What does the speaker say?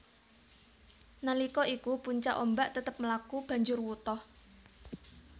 Nalika iku puncak ombak tetep mlaku banjur wutah